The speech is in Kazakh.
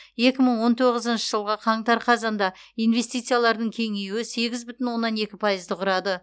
екі мың он тоғызыншы жылғы қаңтар қазанда инвестициялардың кеңеюі сегіз бүтін оннан екі пайызды құрады